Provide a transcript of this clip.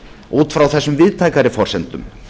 út frá þessum víðtækari forsendum